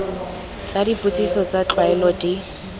tsa dipotsiso tsa tlwaelo di